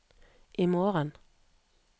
imorgen